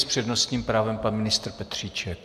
S přednostním právem pan ministr Petříček.